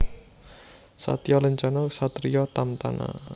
Satya Lencana Ksatria Tamtama